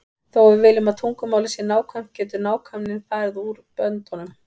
Þó að við viljum að tungumálið sé nákvæmt getur nákvæmnin farið út böndunum.